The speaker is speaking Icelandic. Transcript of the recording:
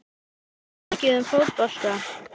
Veistu mikið um fótbolta?